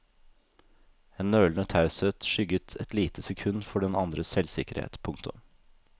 En nølende taushet skygget et lite sekund for den andres selvsikkerhet. punktum